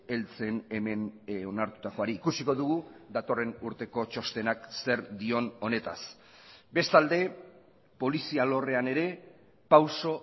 heltzen hemen onartutakoari ikusiko dugu datorren urteko txostenak zer dion honetaz bestalde polizia alorrean ere pauso